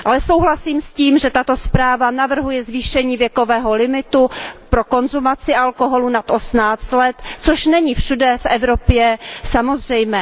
Ale souhlasím s tím, že tato zpráva navrhuje zvýšení věkového limitu pro konzumaci alkoholu nad 18 let, což není všude v Evropě samozřejmé.